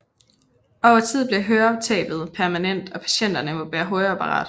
Over tid bliver høretabet permanent og patienterne må bære høreapparat